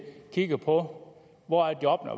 kigger på hvor jobbene